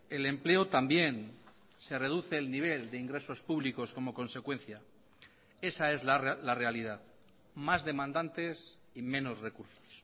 el empleo también se reduce el nivel de ingresos públicos como consecuencia esa es la realidad más demandantes y menos recursos